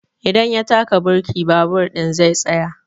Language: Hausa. In ya taka birki babur ɗin zai tsaya.